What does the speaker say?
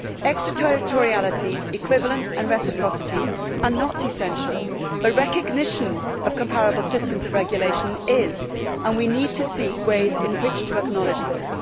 Extra territoriality, equivalence and reciprocity are not essential, but recognition of comparable systems of regulation is, and we need to seek ways of acknowledging this.